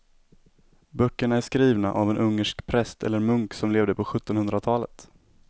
Böckerna är skrivna av en ungersk präst eller munk som levde på sjuttonhundratalet.